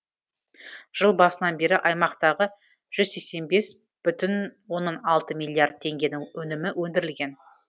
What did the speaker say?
жыл басынан бері аймақтағы жүз сексен бес бүтін оннан алты миллиард теңгенің өнімі өндірілген